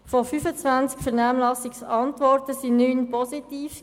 Von 25 Vernehmlassungsantworten waren 9 positiv.